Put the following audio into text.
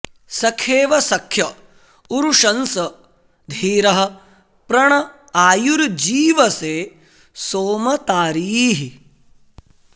सखेव सख्य उरुशंस धीरः प्र ण आयुर्जीवसे सोम तारीः